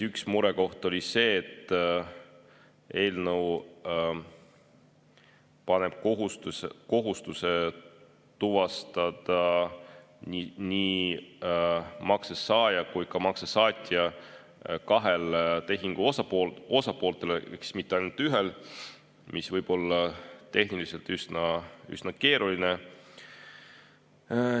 Üks murekoht oli see, et eelnõu paneb kohustuse tuvastada nii makse saaja kui ka saatja kahele tehingule osapoolele, mitte ainult ühele, mis võib olla tehniliselt üsna keeruline.